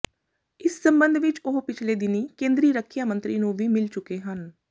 ਇਸ ਸਬੰਧ ਵਿੱਚ ਉਹ ਪਿਛਲੇ ਦਿਨੀਂ ਕੇਂਦਰੀ ਰੱਖਿਆ ਮੰਤਰੀ ਨੂੰ ਵੀ ਮਿਲ ਚੁੱਕੇ ਹਨ